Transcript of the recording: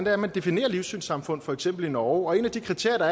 er man definerer livssynssamfund for eksempel i norge og et af de kriterier